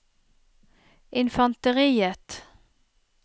infanteriet